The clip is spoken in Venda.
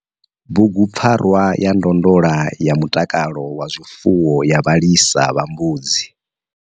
Bugupfarwa ya ndondola ya mutakalo wa zwifuwo ya vhalisa vha mbudzi.